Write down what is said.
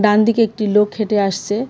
ডানদিকে একটি লোক হেঁটে আসছে।